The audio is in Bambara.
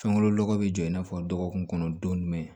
Fɛnko lɔ lɔgɔ bi jɔ i n'a fɔ dɔgɔkun kɔnɔ don jumɛn